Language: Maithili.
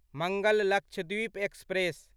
मंगल लक्षद्वीप एक्सप्रेस